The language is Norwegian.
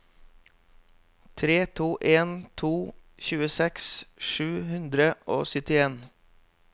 tre to en to tjueseks sju hundre og syttien